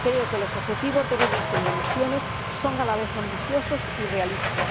Creo que los objetivos de reducción de emisiones son a la vez ambiciosos y realistas.